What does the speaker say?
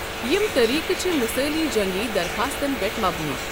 یِم طریقہٕ چھِ مثٲلی جنگی دَرٛخاستن پٮ۪ٹھ مبنی۔